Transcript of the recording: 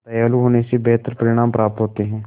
दयालु होने से बेहतर परिणाम प्राप्त होते हैं